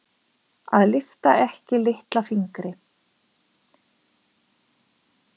Að lyfta ekki litla fingri